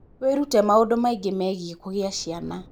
Wĩrute maũndũ maingĩ megiĩ kũgĩa ciana.